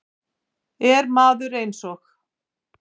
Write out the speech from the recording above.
Ef maður eins og